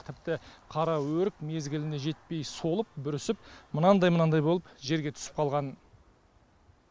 тіпті қараөрік мезгіліне жетпей солып бүрісіп мынандай мынандай болып жерге түсіп қалған